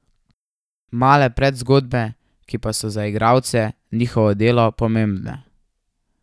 Male predzgodbe, ki pa so za igralce, njihovo delo pomembne.